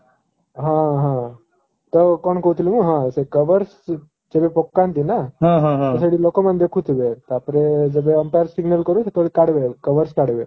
ହଁ ହଁ ତ କଣ କହୁଥିଲି ମୁଁ ହଁ ସେ cover ଯେବେ ପକାନ୍ତି ନା ତ ସେଠି ଲୋକମାନେ ଦେଖୁଥିବେ ତା ପରେ ଯେବେ umpire signal କରିବ ସେତେବେଳେ କାଢିବେ cover କାଢିବେ